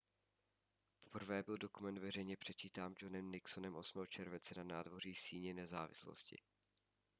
poprvé byl dokument veřejně předčítán johnem nixonem 8. července na nádvoří síně nezávislosti